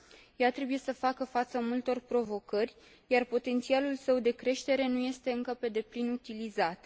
Ea trebuie să facă față multor provocări, iar potențialul său de creștere nu este încă pe deplin utilizat.